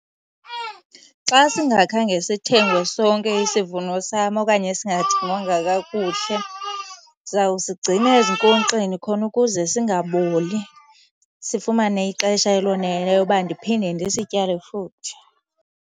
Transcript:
Xa singakhange sithengwe sonke isivuno sam okanye singathengwangwa kakuhle, ndizawusigcina ezinkonkxeni khona ukuze singaboli, sifumane ixesha eloneleyo uba ndiphinde ndisityale futhi.